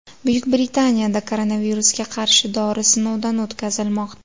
Buyuk Britaniyada koronavirusga qarshi dori sinovdan o‘tkazilmoqda.